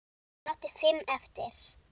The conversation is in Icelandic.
Hún átti fimm eftir.